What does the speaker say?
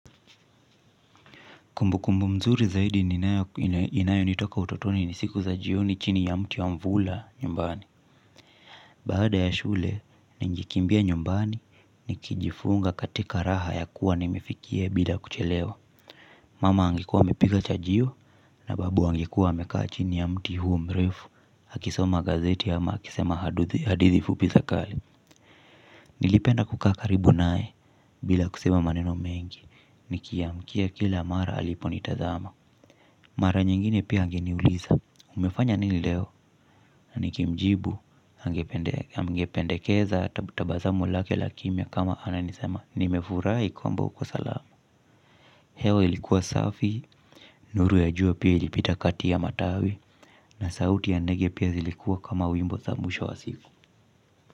Kumbu kumbu mzuri zaidi inayo nitoka utotoni ni siku za jioni chini ya mti wa mvula nyumbani. Baada ya shule, ningekimbia nyumbani, nikijifunga katika raha ya kuwa nimefikie bila kuchelewa. Mama angekuwa amepika chajio, na babu angekuwa amekaa chini ya mti huo mrefu, akisoma gazeti ama akisema hadithi fupi za kale. Nilipenda kukaa karibu nae, bila kusema maneno mengi, nikiamkia kila mara aliponitazama. Mara nyingine pia angeniuliza. Umefanya nini leo na ningemjibu angependekeza tabazamu lake la kimya. Kama ananisema nimefurai kwamba uko salama. Hewa ilikuwa safi nuru ya jua pia ilipita kati ya matawi. Na sauti ya ndege pia zilikuwa kama wimbo za mwisho wa siku.